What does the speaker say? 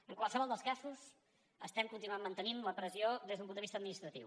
en qualsevol dels casos continuem mantenint la pressió des d’un punt de vista administratiu